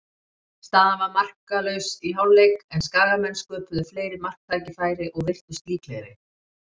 Staðan var markalaus í hálfleik, en Skagamenn sköpuðu fleiri marktækifæri og virtust líklegri.